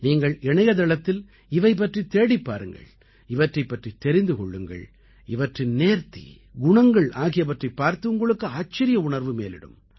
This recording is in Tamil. நீங்கள் இணையதளத்தில் இவை பற்றித் தேடிப் பாருங்கள் இவற்றைப் பற்றித் தெரிந்து கொள்ளுங்கள் இவற்றின் நேர்த்தி குணங்கள் ஆகியவற்றைப் பார்த்து உங்களுக்கு ஆச்சரிய உணர்வு மேலிடும்